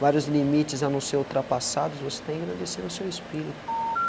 Vários limites a não ser ultrapassados, você está engrandecendo seu espírito.